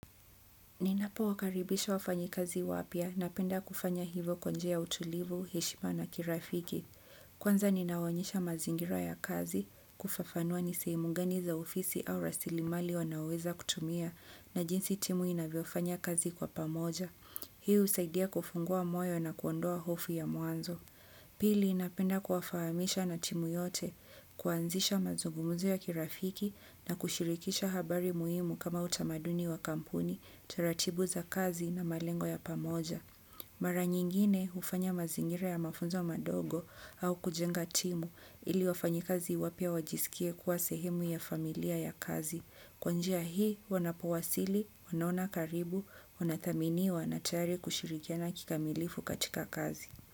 Ninapo wakaribisha wafanyi kazi wapia na penda kufanya hivo kwa njia ya utulivu, heshima na kirafiki. Kwanza ninawaonyesha mazingira ya kazi, kufafanua nisehemu gani za ofisi au rasilimali wanaoweza kutumia na jinsi timu inavyofanya kazi kwa pamoja. Hii usaidia kufungua moyo na kuondoa hofu ya mwanzo. Pili napenda kuwafahamisha na timu yote, kuanzisha mazungumuzo ya kirafiki na kushirikisha habari muhimu kama utamaduni wa kampuni, taratibu za kazi na malengo ya pamoja. Mara nyingine ufanya mazingira ya mafunzo madogo au kujenga timu ili wafanyi kazi wapia wajisikie kuwa sehemu ya familia ya kazi. Kwanjia hii wanapowasili, wanaona karibu, wanathaminiwa na tayari kushirikiana kikamilifu katika kazi.